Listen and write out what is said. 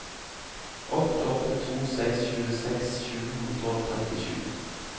åtte åtte to seks tjueseks sju hundre og trettisju